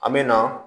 An me na